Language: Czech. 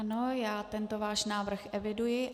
Ano, já tento váš návrh eviduji.